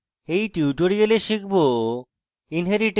in tutorial শিখব